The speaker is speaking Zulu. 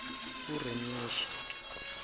urinyesha